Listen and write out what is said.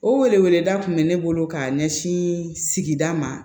O wele weleda tun bɛ ne bolo ka ɲɛsin sigida ma